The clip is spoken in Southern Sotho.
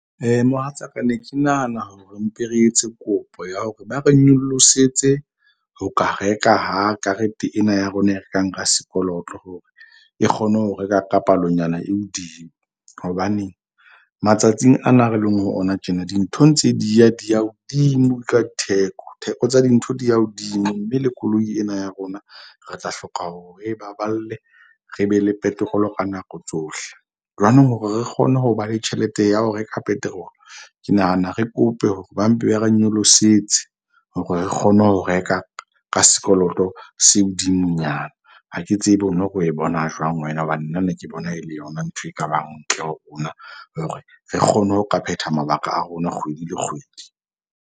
Mohatsaka ne ke nahana hore mpe re etse kopo ya hore ba re nyolosetse ho ka reka ha karete ena ya rona e rekang ka sekoloto, hore e kgone ho reka ka palonyana e hodimo. Hobane matsatsing ana re leng ho ona tjena. Dintho ntse di ya di ya hodimo ka theko. Theko tsa dintho di ya hodimo mme le koloi ena ya rona re tla hloka hore re e baballe. Re be le petrol-o ka nako tsohle. Jwanong hore re kgone ho ba le tjhelete ya ho reka petrol. Ke nahana re kope hore ba mpe ba re nyolosetse hore re kgone ho reka ka sekoloto se hodimonyana. Ha ke tsebe ono re o e bona jwang wena. Hobane nna ne ke bona e le yona ntho e ka bang ntle ho rona hore re kgone ho ka phetha mabaka a rona kgwedi le kgwedi.